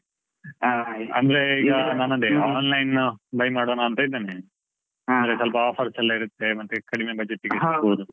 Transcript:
Online buy ಮಾಡೋಣ ಅಂತ ಇದ್ದೇನೆ. ಅಂದ್ರೆ ಸ್ವಲ್ಪ offers ಎಲ್ಲಾ ಇರುತ್ತೆ ಮತ್ತೆ ಕಡಿಮೆ. budget ಗೆ